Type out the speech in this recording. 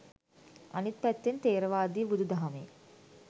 අනිත් පැත්තෙන් ථේරවාදී බුුදුදහමේ